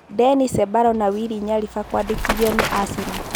Deni Cembalo na Wili Nyariba kũandĩkithio nĩ Aseno